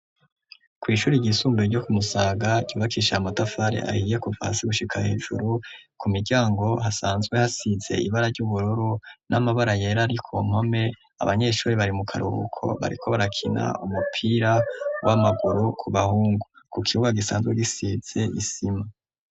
Kw'ishuri ryisumbuye ryo kumusaga ryubakisha ya motafare ahiye kuvasi gushika hejuru ku miryango hasanzwe hasize ibara ry'uburoro n'amabara yera ari ko nkome abanyeshuri bari mu karuruko bariko barakina umupira w'amaguru ku bahungu ku kibuga gisanzwe gisize isima.